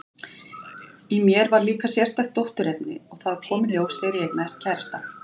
Í mér var líka sérstakt dótturefni, og það kom í ljós þegar ég eignaðist kærastann.